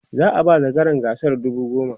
za'a ba zakaran gasar dubu goma